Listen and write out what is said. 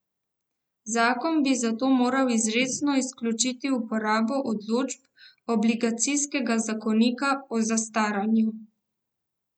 Zakon bi zato moral izrecno izključiti uporabo določb Obligacijskega zakonika o zastaranju.